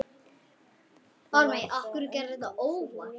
Var það endur fyrir löngu?